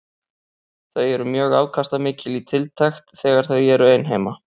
Þau eru mjög afkastamikil í tiltekt þegar þau eru ein heima.